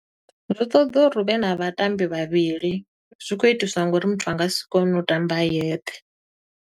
Zwi ṱoḓa uri huvhe na vhatambi vhavhili, zwi khou itiswa nga uri muthu a nga si kone u ṱamba a yeṱhe.